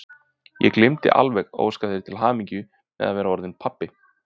Ég gleymdi alveg að óska þér til hamingju með að vera orðinn pabbi!